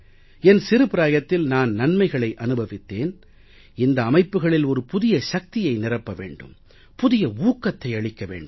என் சிறுபிராயத்தில் நான் நன்மைகளை அனுபவித்தேன் இந்த அமைப்புக்களில் ஒரு புதிய சக்தியை நிரப்ப வேண்டும் புதிய ஊக்கத்தை அளிக்க வேண்டும்